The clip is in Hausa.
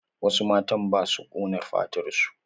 Wasu matan ba su ƙona fatar su.